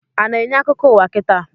A na-enye akụkọ ụwa kita?